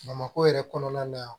Bamakɔ yɛrɛ kɔnɔna na